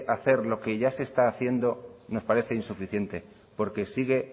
hacer lo que ya se está haciendo nos parece insuficiente porque sigue